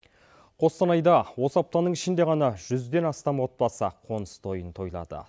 қостанайда осы аптаның ішінде ғана жүзден астам отбасы қоныс тойын тойлады